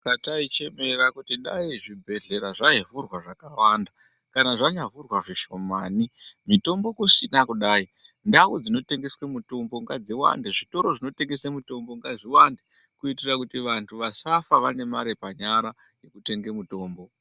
Pataichemera kuti dai zvibhedhlera zvaivhurwa zvakawanda kana zvanyavhurwa zvishomani mitombo kusina kudai ndau dzinotengeswe mitombo ngadziwande , zvitoro zvinotengese mitombo ngazviwande kuitira kuti vantu vasafa vane mare panyara yekutenge mutombo.